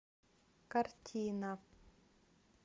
картина